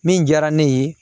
Min diyara ne ye